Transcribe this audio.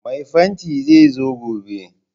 Mai fanti zai zo gobe